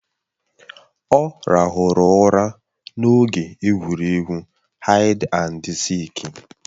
Ọ ràhụrụ ụra n'oge egwuregwu haid andi sịịk.